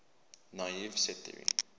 naive set theory